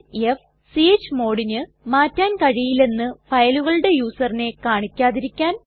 f160 chmodന് മാറ്റാൻ കഴിയില്ലെന്ന് ഫയലുകളുടെ യൂസറിനെ കാണിക്കാതിരിക്കാൻ